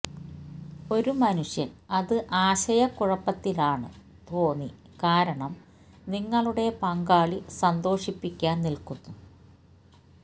ഒരു മനുഷ്യൻ അത് ആശയക്കുഴപ്പത്തിലാണ് തോന്നി കാരണം നിങ്ങളുടെ പങ്കാളി സന്തോഷിപ്പിക്കാൻ നില്ക്കുന്നു